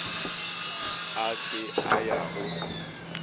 a se a ya go